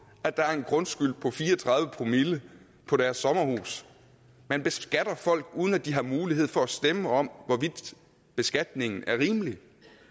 at der er en grundskyld på fire og tredive promille på deres sommerhus man beskatter folk uden at de har mulighed for at stemme om hvorvidt beskatningen er rimelig